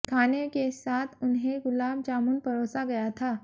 खाने के साथ उन्हें गुलाब जामुन परोसा गया था